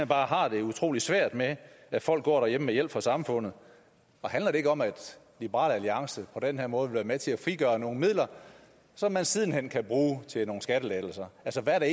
bare har det utrolig svært med at folk går derhjemme med hjælp fra samfundet og handler det ikke om at liberal alliance på den her måde vil være med til at frigøre nogle midler som man siden hen kan bruge til nogle skattelettelser altså hvad er der